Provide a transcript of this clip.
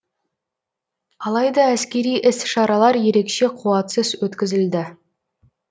алайда әскери іс шаралар ерекше қуатсыз өткізілді